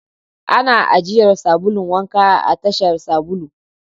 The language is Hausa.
Ana ajiyar sabulu wank a tasar sabulu.